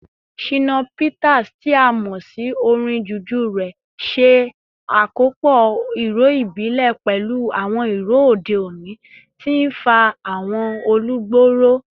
Shina Peters, tí a mọ̀ sí orin Juju rẹ̀, ṣe àkópọ̀ ìró ìbílẹ̀ pẹ̀lú àwọn ìró òde òní, tí ń fa àwọn olùgbọ́ ró.